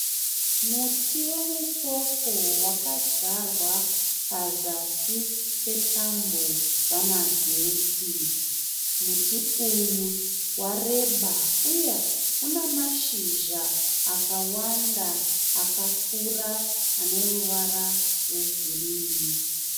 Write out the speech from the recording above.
Muti wemupopo wakadyarwa pazasi petambo dzamagetsi. Muti uyu wareba uye une mashizha akawanda akakura ane ruvara rwegirinhi.